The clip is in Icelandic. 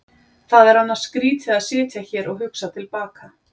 Það er annars skrýtið að sitja hér og hugsa til baka.